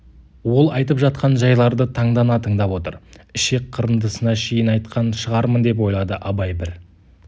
ол айтып жатқан жайларды таңдана тыңдап отыр ішек қырындысына шейін айтқан шығармын деп ойлады абай бір